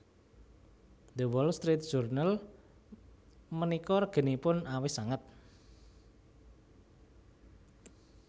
The Wall Street Journal menika reginipun awis sanget